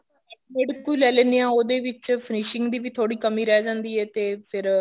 rate ਇੱਕੋ ਈ ਲੈ ਲੀਨੇ ਆ ਉਹਦੇ ਵਿੱਚ finishing ਦੀ ਵੀ ਥੋੜੀ ਕਮੀ ਰਹਿ ਜਾਂਦੀ ਐ ਤੇ ਫੇਰ